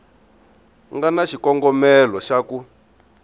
nga na xikongomelo xa ku